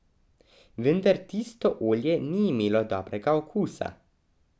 Vendar tisto olje ni imelo dobrega okusa.